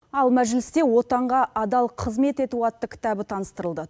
ал мәжілісте отанға адал қызмет ету атты кітабы таныстырылды